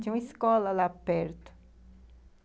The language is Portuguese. Tinha uma escola lá perto.